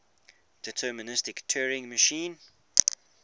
deterministic turing machine